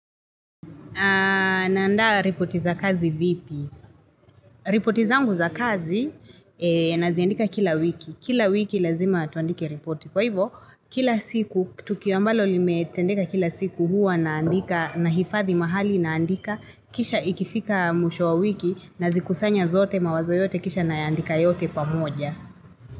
Naandaa ripoti za kazi vipi? Ripoti zangu za kazi naziandika kila wiki. Kila wiki lazima tuandike ripoti. Kwa hivyo, kila siku, tukio mbalo limetendeka kila siku huwa naandika nahifadhi mahali naandika. Kisha ikifika mwisho wa wiki nazikusanya zote mawazo yote kisha nayaandika yote pamoja.